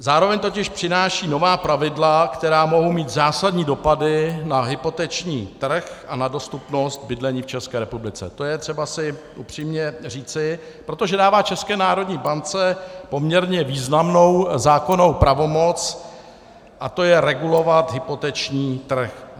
Zároveň totiž přináší nová pravidla, která mohou mít zásadní dopady na hypoteční trh a na dostupnost bydlení v České republice, to je třeba si upřímně říci, protože dává České národní bance poměrně významnou zákonnou pravomoc, a to je regulovat hypoteční trh.